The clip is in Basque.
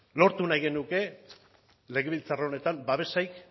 lortu nahi genuke legebiltzar honetan babesik